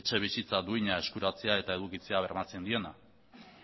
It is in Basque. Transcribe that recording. etxebizitza duina eskuratzea eta edukitzea bermatzen diena